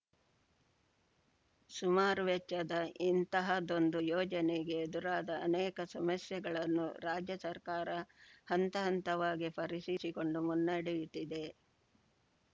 ಸುಮಾರು ವೆಚ್ಚದ ಇಂತಹದ್ದೊಂದು ಯೋಜನೆಗೆ ಎದುರಾದ ಅನೇಕ ಸಮಸ್ಯೆಗಳನ್ನು ರಾಜ್ಯ ಸರ್ಕಾರ ಹಂತ ಹಂತವಾಗಿ ಪರಿಸಿಕೊಂಡು ಮುನ್ನಡೆಯುತ್ತಿದೆ